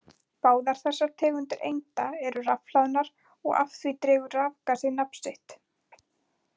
Báðar þessar tegundir einda eru rafhlaðnar og af því dregur rafgasið nafn sitt.